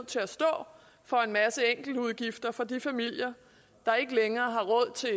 til at stå for en masse enkeltudgifter for de familier der ikke længere har råd til